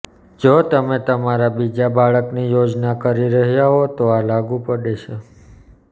જો તમે તમારા બીજા બાળકની યોજના કરી રહ્યા હો તો આ લાગુ પડે છે